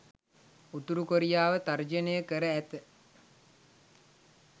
උතුරු කොරියාව තර්ජනය කර ඇත.